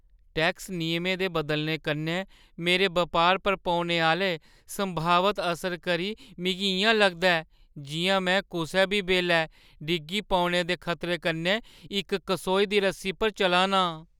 Tax नियमें दे बदलने कन्नै मेरे बपारै पर पौने आह्‌ले संभावत असरै करी मिगी इ'यां लगदा ऐ जिʼयां में कुसै बी बेल्लै डिग्गी पौने दे खतरे कन्नै इक कसोई दी रस्सी पर चला नां।